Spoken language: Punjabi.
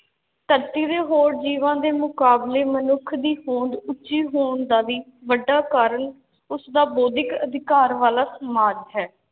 ਧਰਤੀ ਦੇ ਹੋਰ ਜੀਵਾਂ ਦੇ ਮੁਕਾਬਲੇ ਮਨੁੱਖ ਦੀ ਹੋਂਦ ਉੱਚੀ ਹੋਣ ਦਾ ਵੀ ਵੱਡਾ ਕਾਰਨ, ਉਸ ਦਾ ਬੌਧਿਕ ਅਧਿਕਾਰ ਵਾਲਾ ਸਮਾਜ ਹੈ।